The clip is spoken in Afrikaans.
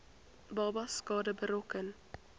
babas skade berokken